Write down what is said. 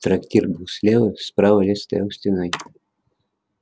трактир был слева справа лес стоял стеной